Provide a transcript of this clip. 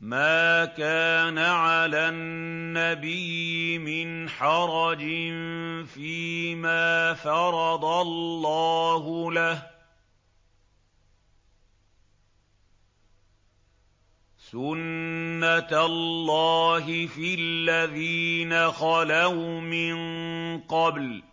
مَّا كَانَ عَلَى النَّبِيِّ مِنْ حَرَجٍ فِيمَا فَرَضَ اللَّهُ لَهُ ۖ سُنَّةَ اللَّهِ فِي الَّذِينَ خَلَوْا مِن قَبْلُ ۚ